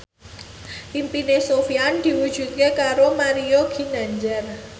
impine Sofyan diwujudke karo Mario Ginanjar